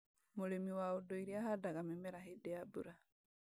Mũrĩmi wa ũndũire ahandaga mĩmera hĩndĩ ya mbura